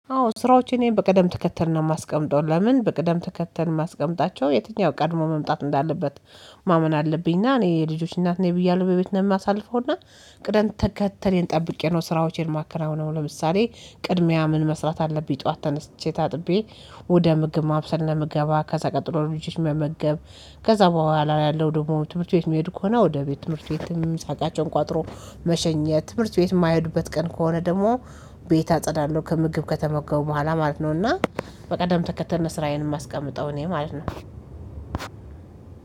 አዎ ስራዎች እኔ በቅደም ተከተል ነው የማስቀምጠው ለምን በቀደም ተከተል ማስቀምጣቸው የትኛው ቀድሞ መምጣት እንዳለበት። ማመን አለብኝና እኔ የልጆች እናት ብያለሁ በቤት ነው የማሳልፈውና። ቅደን ተከተሌን ጠብቄ ነው ስራዎቼን ማከናውነው ለምሳሌ። ቅድሚያ ምን መስራት አለብኝ ጠዋት ተነስቼ ታጥቤ። ወደ ምግብ ማብሰል ነው የምገባው ከዛ ቀጥሎ ልጆች መመገብ። ከዛ በኋላ ያለው ደግሞ ትምህርት ቤት የሚሄዱ ከሆነ ወደ ቤት ትምህርት ቤት ምሳእቃቸውን ቋጥሮ መሸኘት ትምህርት ቤት የማይሄዱበት ቀን ከሆነ ደግሞ። ቤት አጸዳለሁ ከምግብ ከተመገቡ በኋላ ማለት ነው። እና በቅደም ተከተል ነው ስራዬን የማስቀምጠው እኔ ማለት ነው።